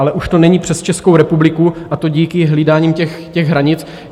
Ale už to není přes Českou republiku, a to díky hlídání těch hranic.